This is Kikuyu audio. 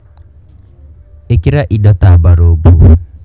Ĩkĩra indo ta mbarumbu.